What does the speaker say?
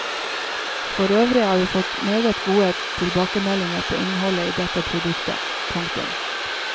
For øvrig har vi fått meget gode tilbakemeldinger på innholdet i dette produktet. punktum